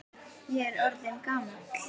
Ég er orðinn gamall.